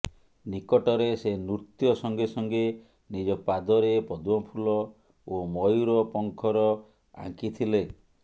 ନିକଟରେ ସେ ନୃତ୍ୟ ସଙ୍ଗେସଙ୍ଗେ ନିଜ ପାଦରେ ପଦ୍ମଫୁଲ ଓ ମୟୁର ପଙ୍ଖର ଆଙ୍କି ଥିଲେ